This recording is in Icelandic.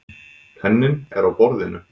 Penninn er á borðinu.